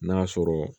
N'a sɔrɔ